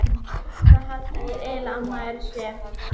Hvað halda þeir eiginlega að maður sé?